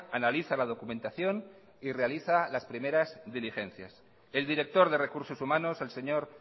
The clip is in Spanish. analiza la documentación y realiza las primeras diligencias el director de recursos humanos el señor